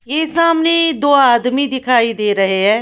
ये सामने दो आदमी दिखाई दे रहे हैं।